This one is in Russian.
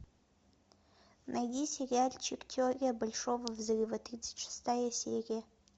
найди сериальчик теория большого взрыва тридцать шестая серия